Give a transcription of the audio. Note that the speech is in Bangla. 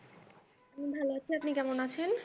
আমি ভালো আছি আপনি কেমন আছেন?